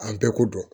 An bɛɛ ko dɔn